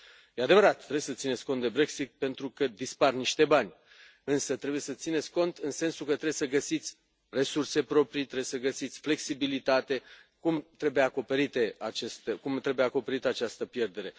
E adevărat, trebuie să țineți cont de Brexit pentru că dispar niște bani însă trebuie să țineți cont în sensul că trebuie să găsiți resurse proprii, trebuie să găsiți flexibilitate, cum trebuie acoperită această pierdere.